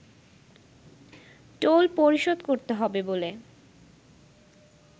toll পরিশোধ করতে হবে বলে